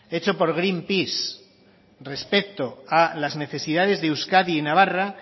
hecho por greenpeace respecto a las necesidades de euskadi y navarra